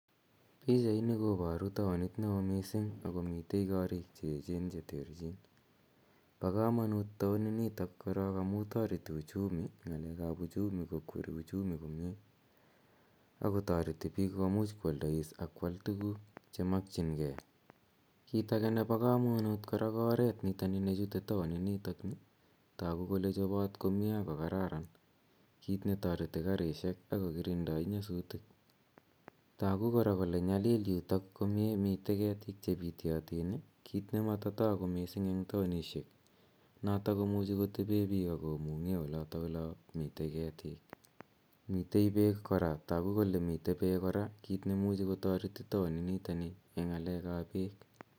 Pichaini koparu taonit ne oo missing' ako mitei koriik che echen che terchin. Pa kamanut taonit nitok korok amu tareti ng'alek ap uchumi. Ng'alek ap uchumi kokweri uchumi komye ako tareti pik komuch koalda ak koal tuguk che makchingei. Kiit age kora nepo kamanut ko oret nitani chute taon initok. Tagu kole chopat komye ak ko kararan, kiit ne tareti karishek ak kokirindai nyasutik. Tagu kora kole nyalil yutok komye. Mitei ketik che pityatin ,kiit ne mata tagu komye eng' taonishek, notok komuchi kotepe pik ak komung'e olata ola mitei ketik. Mitei peek kora, tagu kole mitei peek kora, kiit ne imuchi kotareti taonit nitani eng' ng'alek ap peek.